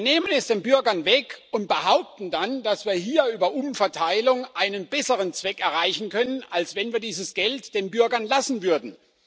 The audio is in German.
Wir nehmen es den Bürgern weg und behaupten dann, dass wir hier über Umverteilung einen besseren Zweck erreichen können, als wenn wir dieses Geld den Bürgern lassen würden.